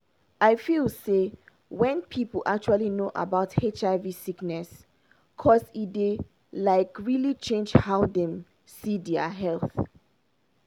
i feel say wen people actually know about hiv sickness cause e dey like really change how dem see dia health